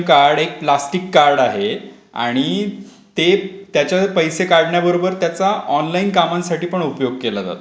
एक card plastic card आहे. आणि ते त्याच्या पैसे काढण्या बरोबर त्याचा ऑनलाईन कामांसाठी पण उपयोग होतो.